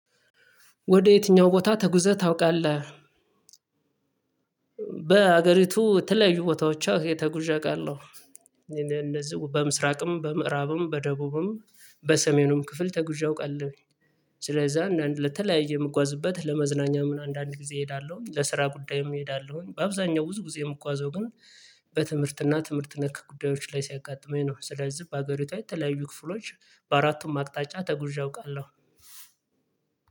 ወደ የትኛው ቦታ ተጉዘህ ታውቃለህ? በሀገሪቱ የተለዩ ቦታዎች ተጉዤ አውቃለሁ። እንደዚሁ በምስራቅም በምዕራብም በደቡብም በሰሜኑም ክፍል ተጉዤ አውውቃለሁ። ስለዛ ለተለያየ የምጓዝበት ለመዝናኛ ምን አንዳንድ ጊዜ እሄዳለሁኝ ለስራ ጉዳይም እሄዳለሁኝ በአብዛኛው ብዙ ጊዜ የምጓዘው ግን በትምህርትና ትምህርት ነክ ጉዳዮች ላይ ሲያጋጥመኝ ነው። ስለዚህ በአገሪቷ የተለያዩ ክፍሎች በአራቱም አቅጣጫ ተጉዤ አውቃለሁ።